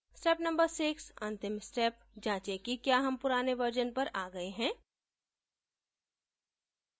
step no 6: अंतिम step जाँचे कि क्या हम पुराने वर्जन पर आ गए हैं